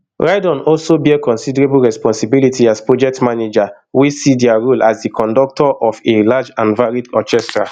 rydon also bear considerable responsibility as project manager wey see dia role as di conductor of a large and varied orchestra